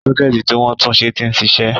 Sọ́kẹ́ẹ̀tì tí wọ́n túnṣe ti ń ṣiṣẹ́.